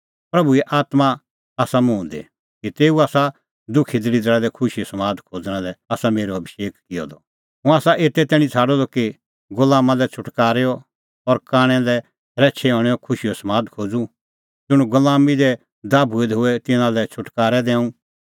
प्रभूए आत्मां आसा मुंह दी कि तेऊ आसा दुखी दल़िदरा लै खुशीओ समाद खोज़णा लै आसा मेरअ अभिषेक किअ द हुंह आसा एते तैणीं छ़ाडअ द कि गुलामा लै छ़ुटकारेओ और कांणै लै शरैछै हणैंओ खुशीओ समाद खोज़ूं ज़ुंण गुलामीं दी दाभूऐ दै होए तिन्नां लै छ़ुटकारअ दैंऊं